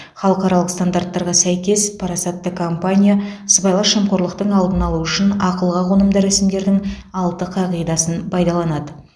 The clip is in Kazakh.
халықаралық стандарттарға сәйкес парасатты компания сыбайлас жемқорлықтың алдын алу үшін ақылға қонымды рәсімдердің алты қағидасын пайдаланады